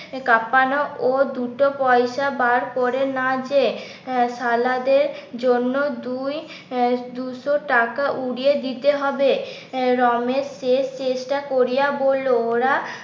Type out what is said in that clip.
কাপানো ও দুটো পয়সা বার করে না যেয়ে সালাদের জন্য দুই দুশো টাকা উড়িয়ে দিতে হবে রমেশ শেষ চেষ্টা করিয়া বললো ওরা